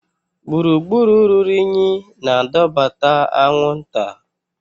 Gburugburu ruru unyi na-adọbata anwụnta.